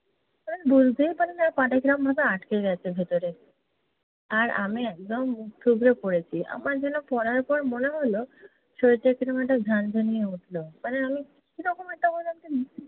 বুঝতেই পারিনি পা টা কীরমভাবে আটকে গেছে ভেতরে। আর আমি একদম মুখ থুবড়ে পড়েছি। আমার যেন পড়ার পর মনে হলো শরীরটা কীরম একটা ঝানঝানিয়ে উঠলো। মানে আমি কীরকম একটা